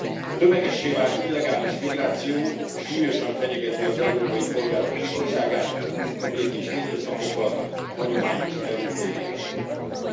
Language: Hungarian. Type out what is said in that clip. A tömegessé vált illegális migráció súlyosan fenyegeti az európai polgárok biztonságát, a békés hétköznapokat, a hagyományos európai életformánkat.